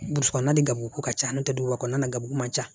Burusi kɔnɔ na ni garibu ko ka ca n'o tɛ duguba kɔnɔna na gabugu man ca